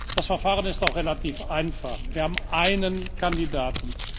Das Verfahren ist auch relativ einfach Wir haben einen Kandidaten.